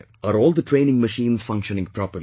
Are all the training machines functioning properly